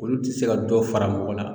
Olu te se ka dɔ fara mɔgɔ la